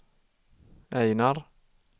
Ejnar